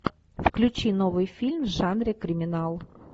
включи новый фильм в жанре криминал